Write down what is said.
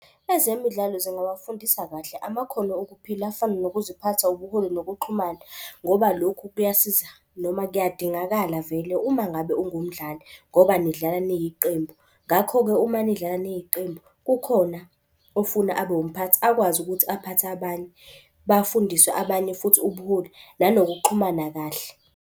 Ezemidlalo zingawafundisa kahle amakhono okuphila afana nokuziphatha, ubuholi, nokuxhumana. Ngoba lokhu kuyasiza noma kuyadingakala vele uma ngabe ungumdali ngoba nidlala niyiqembu. Ngakho-ke uma nidlala niyiqembu kukhona ofuna abe umphathi akwazi ukuthi aphathe abanye. Bafundiswe abanye futhi ubuholi nanokuxhumana kahle.